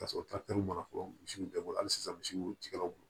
Ka sɔrɔ mana fɔ misiw bɛɛ bolo halisa misiw tigɛlaw